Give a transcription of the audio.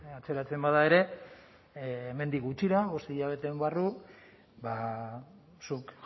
atzeratzen bada ere hemendik gutxira bost hilabete barru zuk